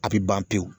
A bɛ ban pewu